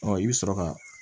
Ɔ i bɛ sɔrɔ ka